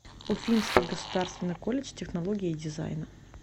уфимский государственный колледж технологии и дизайна